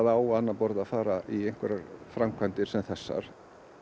á annað borð að fara í einhverjar framkvæmdir sem þessar